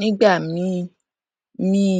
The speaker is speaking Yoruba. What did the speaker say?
nígbà míì míì